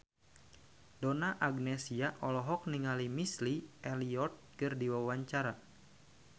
Donna Agnesia olohok ningali Missy Elliott keur diwawancara